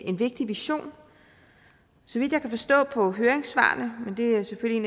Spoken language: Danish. en vigtig vision så vidt jeg kan forstå på høringssvarene men det er selvfølgelig